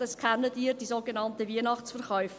Das kennen Sie: die sogenannten Weihnachtsverkäufe.